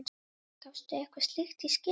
gafstu eitthvað slíkt í skyn?